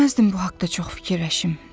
İstəməzdim bu haqda çox fikirləşim.